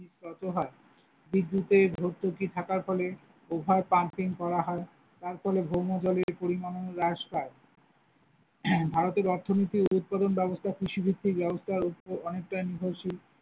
বিদ্যুতের ভর্তুকি থাকার ফলে Over pumping করা হয়, তার ফলে ভৌমজলের পরিমানও হ্রাস পায়, ভারতের অর্থনীতির উৎপাদন ব্যবস্থা কৃষি ভিত্তিক ব্যবস্থার উপর অনেকটাই নির্ভরশীল।